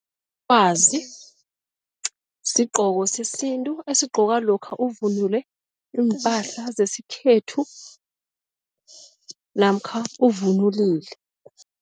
Sigqoko sesintu esigqokwa lokha uvunule iimpahla zesikhethu namkha uvunulile.